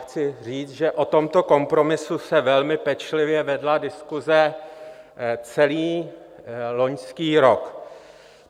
Chci říct, že o tomto kompromisu se velmi pečlivě vedla diskuse celý loňský rok.